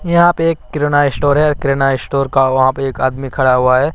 यहां पे एक किराना स्टोर है किराना स्टोर का वहां पे एक आदमी खड़ा हुआ है।